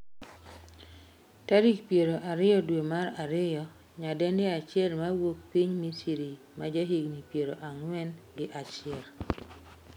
tarik piero ariyo dwe mar ariyo, nyadendi achiel mawuok piny misri ma jahigni piero ang'wen gi achiel